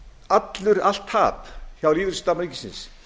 allt tap hjá lífeyrissjóði starfsmanna ríkisins